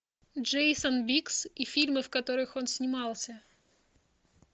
джейссон биггз и фильмы в которых он снимался